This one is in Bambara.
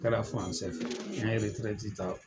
Kɛra de n ɲe ta